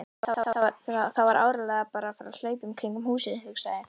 Það var áreiðanlega bara af hlaupunum kringum húsið, hugsaði